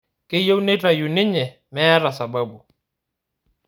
Keyieu neitayu ninye meeta sababu